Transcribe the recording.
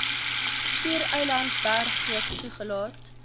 skiereiland bergreeks toegelaat